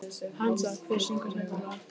Hansa, hver syngur þetta lag?